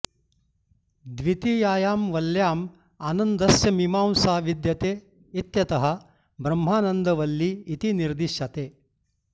द्वितीयायां वल्ल्याम् आनन्दस्य मीमांसा विद्यते इत्यतः ब्रह्मानन्दवल्ली इति निर्दिश्यते